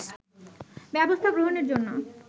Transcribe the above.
ব্যবস্থা গ্রহণের জন্য